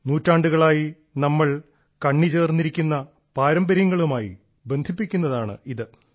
നൂറ്റാണ്ടുകളായി നമ്മൾ കണ്ണി ചേർന്നിരിക്കുന്ന പാരമ്പര്യങ്ങളും ആയി ബന്ധിപ്പിക്കുന്നതാണ് ഇത്